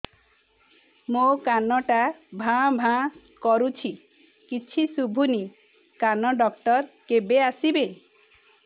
ମୋ କାନ ଟା ଭାଁ ଭାଁ କରୁଛି କିଛି ଶୁଭୁନି କାନ ଡକ୍ଟର କେବେ ଆସିବେ